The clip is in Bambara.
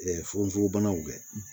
fugonforobanaw kɛ